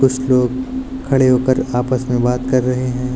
कुछ लोग खड़े होकर आपस में बात कर रहे हैं।